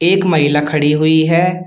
एक महिला खड़ी हुई है।